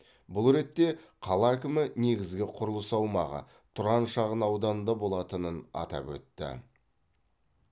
бұл ретте қала әкімі негізгі құрылыс аумағы тұран шағын ауданында болатынын атап өтті